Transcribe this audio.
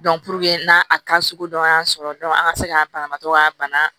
n'a ta sugu dɔn y'a sɔrɔ an ka se k'an banabaatɔ ka bana